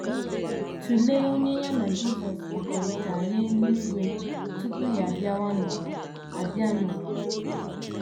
* Tụlee onye ya na Jisọs kpakọrịtara n’eluigwe tupu ya abịa n’ụwa abịa n’ụwa.